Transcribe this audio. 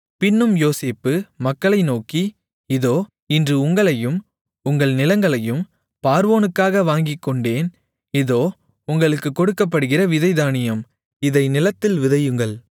பின்னும் யோசேப்பு மக்களை நோக்கி இதோ இன்று உங்களையும் உங்கள் நிலங்களையும் பார்வோனுக்காக வாங்கிக்கொண்டேன் இதோ உங்களுக்குக் கொடுக்கப்படுகிற விதைத் தானியம் இதை நிலத்தில் விதையுங்கள்